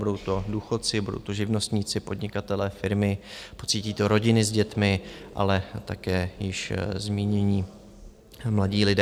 Budou to důchodci, budou to živnostníci, podnikatelé, firmy, pocítí to rodiny s dětmi, ale také již zmínění mladí lidé.